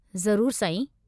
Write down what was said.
ज़रूरु साईं।